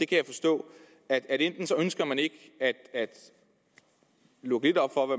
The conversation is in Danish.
kan forstå at enten ønsker man ikke at lukke lidt op for